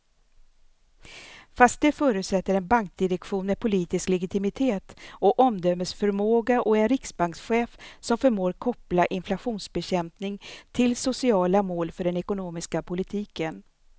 Fast det förutsätter en bankdirektion med politisk legitimitet och omdömesförmåga och en riksbankschef som förmår koppla inflationsbekämpning till sociala mål för den ekonomiska politiken.